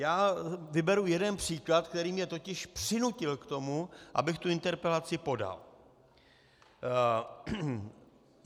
Já vyberu jeden příklad, který mě totiž přinutil k tomu, abych tu interpelaci podal.